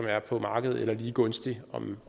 er på markedet eller lige gunstig